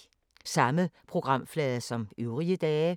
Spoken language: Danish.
Samme programflade som øvrige dage